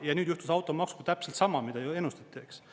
Ja nüüd juhtus automaksuga täpselt sama, mida ju ennustati, eks.